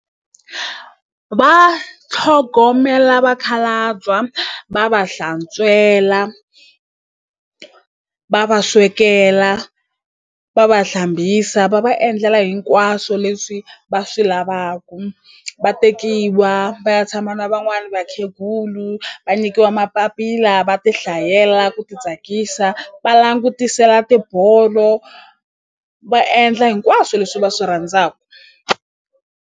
Va tlhogomela vakhalabya va va hlantswela va va swekela va va hlambisa va va endlela hinkwaswo leswi va swi lavaku va tekiwa va ya tshama na van'wani vakhegulu va nyikiwa mapapila va ti hlayela ku ti tsakisa va langutisela tibolo va endla hinkwaswo leswi va swi rhandzaku.